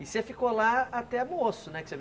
E você ficou lá até moço, né? Que você vem